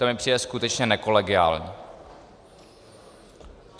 To mi přijde skutečně nekolegiální.